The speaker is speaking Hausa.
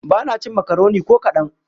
Ba na cin makaroni ko kaɗan.